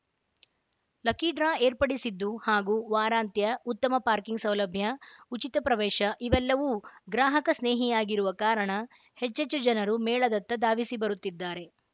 lucky draw ಏರ್ಪಡಿಸಿದ್ದು ಹಾಗೂ ವಾರಾಂತ್ಯ ಉತ್ತಮ ಪಾರ್ಕಿಂಗ್‌ ಸೌಲಭ್ಯ ಉಚಿತ ಪ್ರವೇಶ ಇವೆಲ್ಲವೂ ಗ್ರಾಹಕ ಸ್ನೇಹಿಯಾಗಿರುವ ಕಾರಣ ಹೆಚ್ಚೆಚ್ಚು ಜನರು ಮೇಳದತ್ತ ಧಾವಿಸಿ ಬರುತ್ತಿದ್ದಾರೆ